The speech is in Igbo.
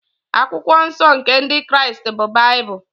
Akwụkwọ nsọ nke Ndị Kraịst bụ Baịbụl.